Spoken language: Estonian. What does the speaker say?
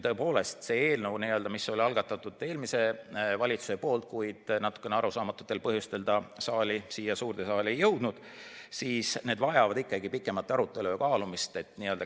Tõepoolest, see eelnõu, mille algatas eelmine valitsus, kuid mis natukene arusaamatutel põhjustel siia suurde saali ei jõudnud, vajab pikemat arutelu või kaalumist.